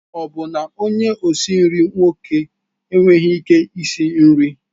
Ọ bụ na onye osi nri nwoke enweghị ike isi nri?